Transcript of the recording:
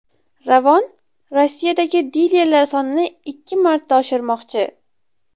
Ravon Rossiyadagi dilerlar sonini ikki marta oshirmoqchi.